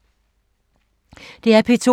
DR P2